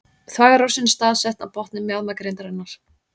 Þvagrásin er staðsett á botni mjaðmagrindarinnar.